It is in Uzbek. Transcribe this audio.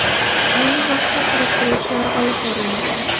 Ayni vaqtda surishtiruv ishlari olib borilmoqda.